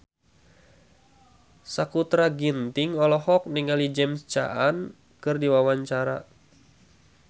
Sakutra Ginting olohok ningali James Caan keur diwawancara